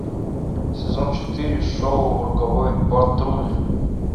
сезон четыре шоу роковой патруль